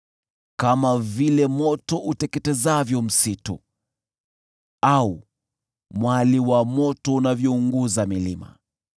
Kama vile moto uteketezavyo msitu au mwali wa moto unavyounguza milima,